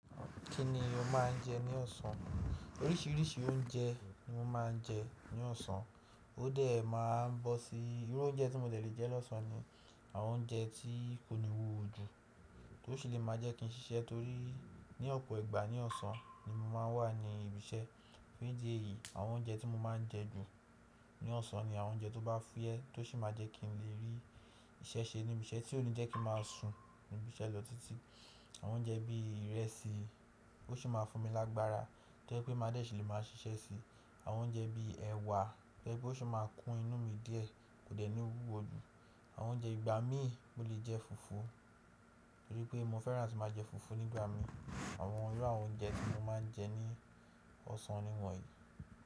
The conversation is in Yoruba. Kí ni o máa ń jẹ ní ọ̀sán? Oríṣiríṣi oúnjẹ ni mo máa ń jẹ ní ọ̀sán. Ó dẹ̀ máa n bọ́ sí irú oúnjẹ tí mo dè lè jẹ́ lọ́sàn án ni àwọn oúnjẹ tí kò ní wúwo ju, tó sì lè máa jẹ́ kí n ṣiṣẹ́ torí ní ọ̀pọ̀ ìgbà ní ọ̀sán ni mo máa ń wà ní ibi iṣẹ́. Nídí ẹ̀yìí àwọn oúnjẹ tí mo máa ń jẹ jù ní ọ̀sán ni àwọn oúnjẹ tó bá fúyẹ́ tó sì máa jẹ́ kí n lè rí iṣẹ́ ṣe níbi iṣẹ́ tí ó ní jẹ́ kí n máa sùn níbi iṣẹ́ lọ títí. Àwọn oúnjẹ bí ìrẹsì ó sì máa fún mi lágbára tó jẹ́ pé máa dè ṣì lè máa ṣiṣẹ́ síi. Àwọn oúnjẹ bí ẹwà tó jẹ́ pé ó sì máa kún inú mi díẹ̀ kò dẹ̀ ní wúwo ju. Àwọn oúnjẹ ìgbà mi mo lè jẹ fùfú torí pé mo fẹ́ràn atí màá jẹ fùfú nígbà mi. Àwọn irú àwọn oúnjẹ tí mo máa ń jẹ ní ọ̀sán niwọ̀nyí.